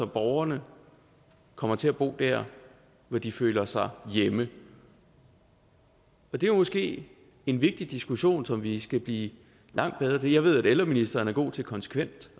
borgerne kommer til at bo dér hvor de føler sig hjemme det er måske en vigtig diskussion som vi skal blive langt bedre til jeg ved at ældreministeren er god til konsekvent